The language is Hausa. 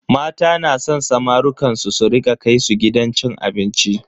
Mata na san samarukan su su rika kai su gidan cin abinci.